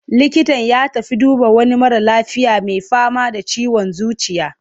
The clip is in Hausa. Likitan ya tafi duba wani mara lafiya mai fama da ciwon zuciya.